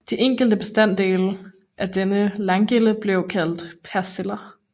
De enkelte bestanddele af denne landgilde blev kaldt persiller